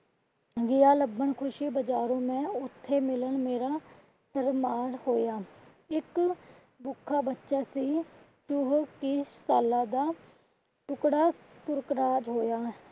ਗਿਆ ਲੱਬਣ ਖੁਸ਼ੀ ਬਜਾਰੋਂ ਮੈਂ ਉੱਥੇ ਮਿਲਣ ਮੇਰਾ . ਹੋਇਆ। ਇੱਕ ਭੁੱਖਾ ਬੱਚਾ ਸੀ . ਸਾਲਾਂ ਦਾ ਟੁਕੜਾ . ਹੋਇਆ।